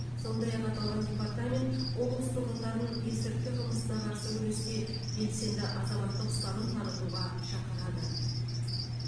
сондай ақ аталған департамент облыс тұрғындарын есірткі қылмысына қарсы күресте белсенді азаматтық ұстаным танытуға шақырады